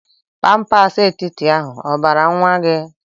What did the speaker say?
Pampers etiti ahụ obara nwa gi?